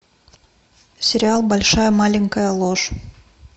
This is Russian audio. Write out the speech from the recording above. сериал большая маленькая ложь